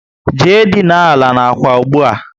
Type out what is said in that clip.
Jee dina àlà n'ákwà ụgbụa!